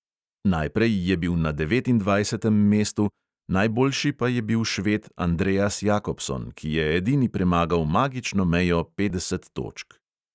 Najprej je bil na devetindvajsetem mestu, najboljši pa je bil šved andreas jakobson, ki je edini premagal magično mejo petdeset točk.